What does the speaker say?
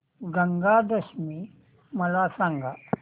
गंगा दशमी मला सांग